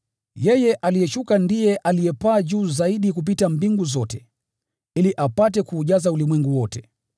Yeye aliyeshuka ndiye alipaa juu zaidi kupita mbingu zote, ili apate kuujaza ulimwengu wote.)